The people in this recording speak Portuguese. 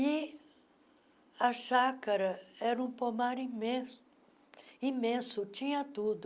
E a chácara era um pomar imenso, imenso, tinha tudo.